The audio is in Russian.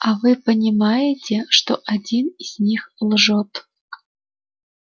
а вы понимаете что один из них лжёт